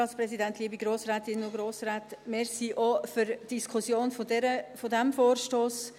Vielen Dank für die Diskussion auch dieses Vorstosses.